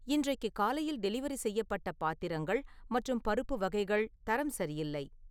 இன்றைக்கு காலையில் டெலிவரி செய்யப்பட்ட பாத்திரங்கள் மற்றும் பருப்பு வகைகள் தரம் சரியில்லை